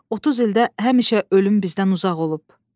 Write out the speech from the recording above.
30 ildə həmişə ölüm bizdən uzaq olub.